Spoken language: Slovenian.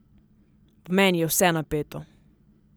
V meni je vse napeto.